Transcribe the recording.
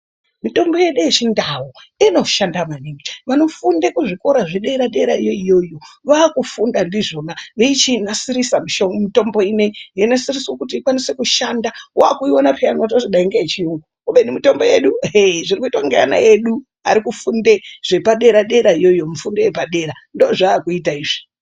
Mitombo yedu yechiNdau inoshanda maningo vanofunde kuzvikora zvedera dera iyoyoyo vaakufunda ndizvona veichinasirisa mitombo ineyi veunasirisa kuti inase kushanda, waakuiona peya wototi dai mitolbo yechiyungu kubeni mitombo yedu ehee zviri kuitwa nevana vedu vati kufunde zvepa dera dera iyoyo mufundo yepadera ndoo zvaakuita izvi.